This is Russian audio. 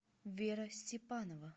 вера степанова